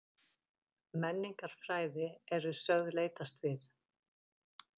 Menningarfræði eru sögð leitast við